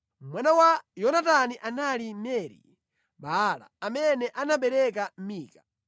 Mwana wa Yonatani anali Meri-Baala, amene anabereka Mika.